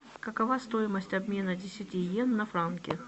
какова стоимость обмена десяти йен на франки